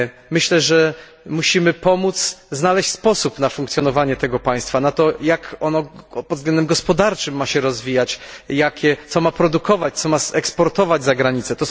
Myślę, że musimy pomóc znaleźć sposób na funkcjonowanie tego państwa, na to, jak ono pod względem gospodarczym ma się rozwijać, co ma produkować, co ma eksportować za granicę.